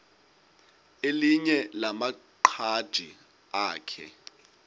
elinye lamaqhaji akhe